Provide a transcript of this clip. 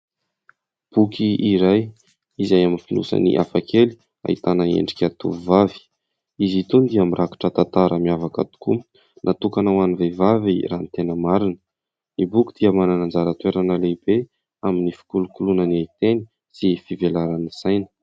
Boky iray izay amin'ny fonosany hafa kely ahitana endrika tovovavy. Izy itony dia mirakotra tantara miavaka tokoa natokana ho an'ny vehivavy raha ny tena marina. Ny boky dia manana anjara toerana lehibe amin'ny fikolokoloana ny fiteny sy ny fivelaran'ny saina.